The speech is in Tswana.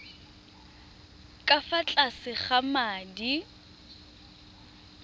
ka fa tlase ga madi